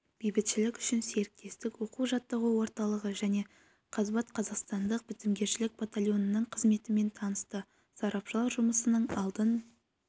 бейбітшілік үшін серіктестік оқу-жаттығу орталығы және қазбат қазақстандық бітімгершілік батальонының қызметімен танысты сарапшылар жұмысының алдын